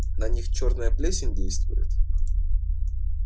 на них чёрная плесень действует